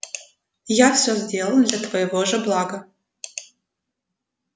я всё сделал для твоего же блага